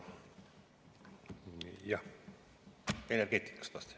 Jah, energeetikas eelkõige.